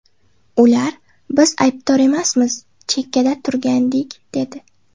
Ular ‘biz aybdor emasmiz, chekkada turgandik’, dedi.